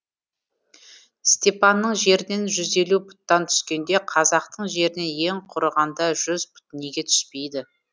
степанның жерінен жүз елу пұттан түскенде қазақтың жерінен ең құрығанда жүз пұт неге түспейді